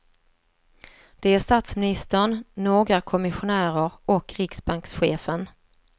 Det är statsministern, några kommissionärer och riksbankschefen.